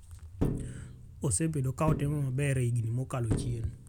Osebedo ka otimo maber e higni mokalo chien.